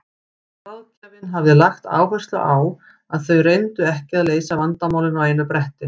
Ráðgjafinn hafði lagt áherslu á að þau reyndu ekki að leysa vandamálin á einu bretti.